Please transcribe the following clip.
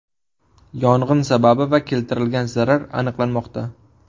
Yong‘in sababi va keltirilgan zarar aniqlanmoqda.